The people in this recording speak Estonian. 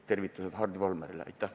Tervitused Hardi Volmerile!